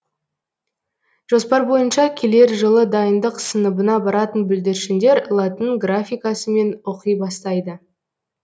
жоспар бойынша келер жылы дайындық сыныбына баратын бүлдіршіндер латын графикасымен оқи бастайды